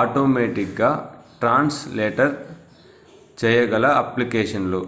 automatic గా translator చేయగల application లు